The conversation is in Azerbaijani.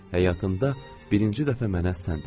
Həyatında birinci dəfə mənə sən dedi.